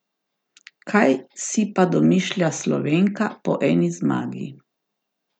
Kaj si pa domišlja Slovenka po eni zmagi?